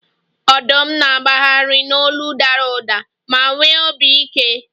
Ọdụm na-agbagharị n'olu dara ụda ma nwee obi ike